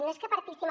no és que partíssim